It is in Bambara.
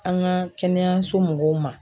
An ka kɛnɛyaso mɔgɔw ma.